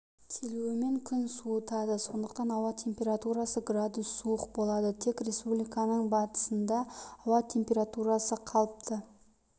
келуімен күн суытады сондықтан ауа температурасы градус суық болады тек республиканың батысында ауа температурасы қалыпты